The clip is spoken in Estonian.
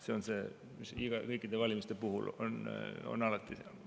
See on nii kõikide valimiste puhul, need on alati ühetaolised.